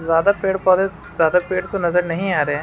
ज्यादा पेड़ पौधे ज्यादा पेड़ तो नज़र नहीं आ रहें है।